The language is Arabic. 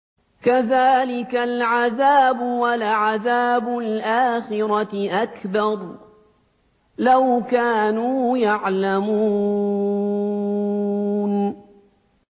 كَذَٰلِكَ الْعَذَابُ ۖ وَلَعَذَابُ الْآخِرَةِ أَكْبَرُ ۚ لَوْ كَانُوا يَعْلَمُونَ